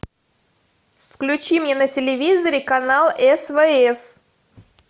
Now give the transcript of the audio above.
включи мне на телевизоре канал свс